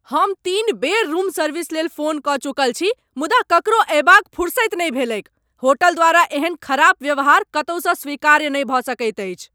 हम तीन बेर रूम सर्विस लेल फोन कऽ चुकल छी मुदा ककरो अयबाक फुरसति नहि भेलैक। होटल द्वारा एहन खराब व्यवहार कतहुसँ स्वीकार्य नहि भऽ सकैत अछि।